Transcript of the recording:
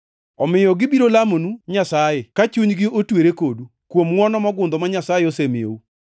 Omiyo gibiro lamonu Nyasaye, ka chunygi otwere kodu, kuom ngʼwono mogundho ma Nyasaye osemiyou.